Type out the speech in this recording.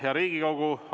Hea Riigikogu!